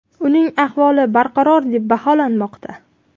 Uning ahvoli barqaror deb baholanmoqda.